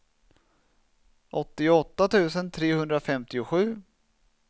åttioåtta tusen trehundrafemtiosju